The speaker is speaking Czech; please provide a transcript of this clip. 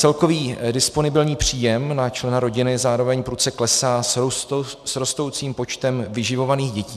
Celkový disponibilní příjem na člena rodiny zároveň prudce klesá s rostoucím počtem vyživovaných dětí.